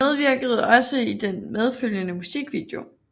Han medvirkede også i den medfølgende musikvideo